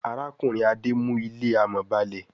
Arákùnrin Ade mú ilé amò ba'le.